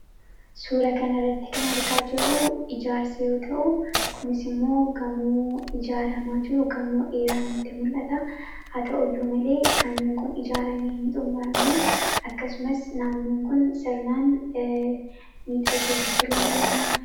suura kan irratti kan argaa jirruu ijaarsa yoo ta'u kunis immoo gamuu ijaaramaa jiru gamoo eeraanitti mul'ata haa ta'uu iyyuu malee gamoon kun ijaaramii hin xumuramme akkasumas naannoon kun sirnaan miixagee tottolee in xummuramne